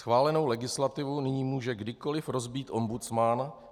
Schválenou legislativu nyní může kdykoliv rozbít ombudsman.